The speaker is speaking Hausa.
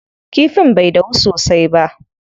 Kifin bai dahu sosai ba.